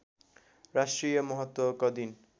राष्ट्रिय महत्त्वको दिन